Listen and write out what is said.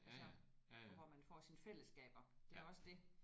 Altså og hvor man får sine fællesskaber det er også det